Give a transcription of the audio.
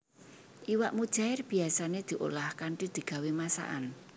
Iwak mujaèr biyasané diolah kanthi digawé masakan